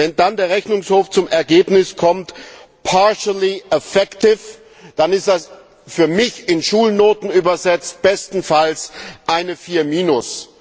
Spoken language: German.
Wenn dann der Rechnungshof zum Ergebnis partially effective kommt, dann ist das für mich, in Schulnoten übersetzt, bestenfalls eine Vier minus.